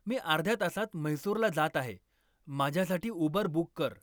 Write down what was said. मी अर्ध्या तासात म्हैसूरला जात आहे माझ्यासाठी उबर बुक कर